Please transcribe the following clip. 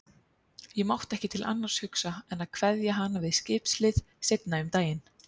Ég mátti ekki til annars hugsa en kveðja hana við skipshlið seinna um daginn.